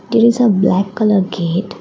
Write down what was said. there is a black colour gate.